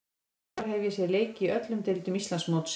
Í sumar hef ég séð leiki í öllum deildum Íslandsmótsins.